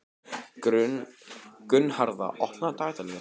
Gunnharða, opnaðu dagatalið mitt.